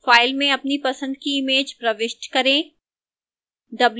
file में अपनी पसंद की image प्रविष्ट करें